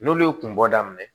N'olu ye kun bɔ daminɛ